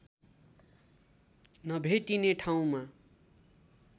नभेटिने ठाउँमा